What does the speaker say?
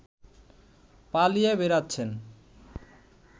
পালিয়ে বেড়াচ্ছেন